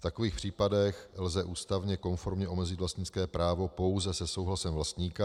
V takových případech lze ústavně konformně omezit vlastnické právo pouze se souhlasem vlastníka.